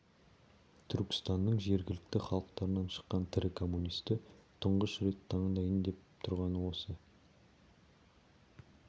түркістанның жергілікті халықтарынан шыққан тірі коммунисті тұңғыш рет тыңдайын деп отырғаны осы